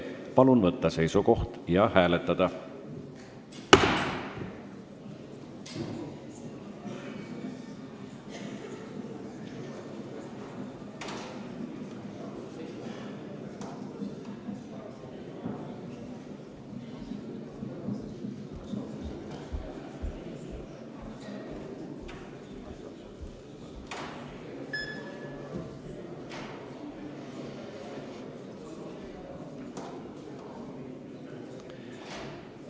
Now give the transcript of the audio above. Palun võtta seisukoht ja hääletada!